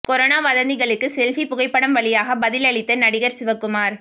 corona வதந்திகளுக்கு selfie புகைப்படம் வழியாகப் பதில் அளித்த நடிகர் சிவகுமார்